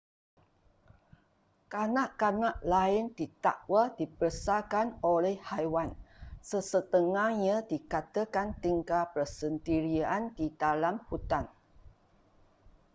kanak-kanak lain didakwa dibesarkan oleh haiwan sesetengahnya dikatakan tinggal bersendirian di dalam hutan